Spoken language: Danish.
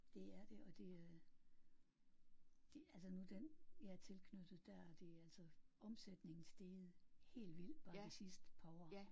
Det er det og det det altså nu den jeg er tilknyttet der er det altså omsætningen steget helt vildt bare de sidste par år